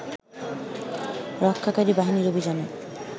রক্ষাকারী বাহিনীর অভিযানে